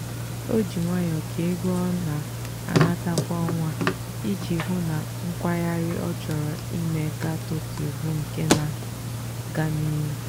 o ji nwayọọ kee ego ọ na-anata kwa ọnwa iji hụụ na nkwagharị ọ chọrọ ime gaa tokyo bụ nke na-aga n'ihu.